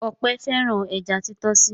Ọpẹ́ fẹ́ràn ẹja títọ́sì.